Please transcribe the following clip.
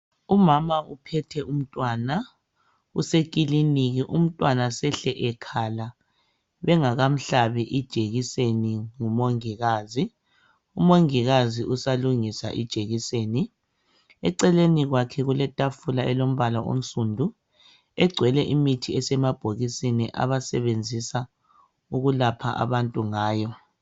Umama uphethe umntwana usekiliniki umntwana sehle ekhala bengakamhlabi ijekiseni ngumongikazi. Umongikazi usalungisa ijekiseni. Eceleni kwakhe kuletafula elombala onsundu egcwele imithi esemabhokisini abasebenzisa ukulapha abantu ngayo